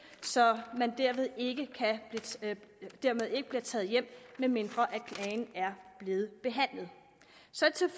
så man dermed ikke bliver taget hjem medmindre klagen er blevet behandlet